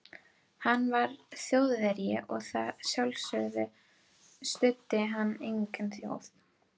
Hann var Þjóðverji og að sjálfsögðu studdi hann eigin þjóð.